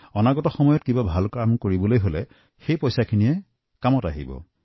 অনাগত দিনত কোনো গুৰুত্বপূৰ্ণ কামতো সেই ধন লগাব পাৰিব